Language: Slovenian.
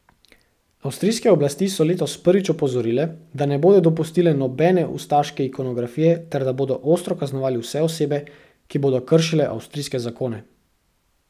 Avstrijske oblasti so letos prvič opozorile, da ne bodo dopustile nobene ustaške ikonografije ter da bodo ostro kaznovali vse osebe, ki bodo kršile avstrijske zakone.